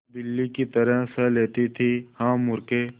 बिल्ली की तरह सह लेती थीहा मूर्खे